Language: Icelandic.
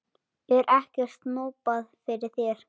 Er ekkert snobbað fyrir þér?